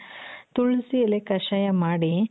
ತುಳಸಿ ಎಲೆ ಕಷಾಯ ಮಾಡಿ